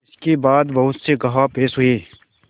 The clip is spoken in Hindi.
इसके बाद बहुत से गवाह पेश हुए